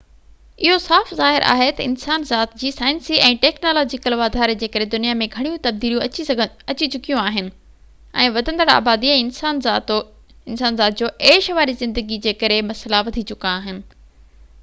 اهو صاف ظاهر آهي تہ انسان ذات جي سائنسي ۽ ٽيڪنالاجيڪل واڌاري جي ڪري دنيا ۾ گهڻيون تبديليون اچي چڪيون آهن ۽ وڌندڙ آبادي ۽ انسان ذات جو عيش واري زندگي جي ڪري مسئلا وڌي چڪا آهن